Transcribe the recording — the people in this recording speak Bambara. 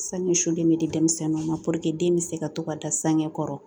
Sange sulen bɛ di denmisɛnninw ma den bɛ se ka to ka da sange kɔrɔ